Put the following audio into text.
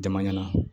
Jama ɲɛ na